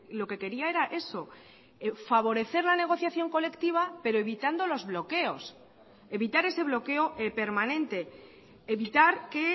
lo que quería era eso favorecer la negociación colectiva pero evitando los bloqueos evitar ese bloqueo permanente evitar que